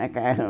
Macarrão.